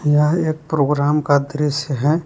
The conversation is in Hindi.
यह एक प्रोग्राम का दृश्य है।